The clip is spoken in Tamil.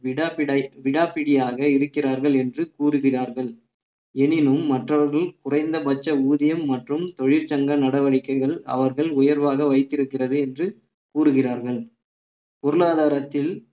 விடாப்பிட~ விடாப்பிடியாக இருக்கிறார்கள் என்று கூறுகிறார்கள் எனினும் மற்றவர்கள் குறைந்தபட்ச ஊதியம் மற்றும் தொழிற்சங்க நடவடிக்கைகள் அவர்கள் உயர்வாக வைத்திருக்கிறது என்று கூறுகிறார்கள் பொருளாதாரத்தில்